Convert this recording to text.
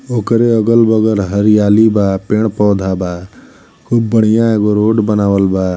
ओकरे अगल-बगल हरियाली बा। पेड़-पौधा बा। खूब बढ़िया एगो रोड बनावल बा।